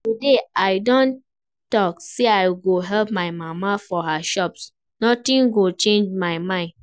Today I don talk say I go help my mama for her shop, nothing go change my mind